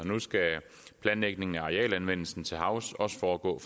og nu skal planlægningen af arealanvendelsen til havs også foregå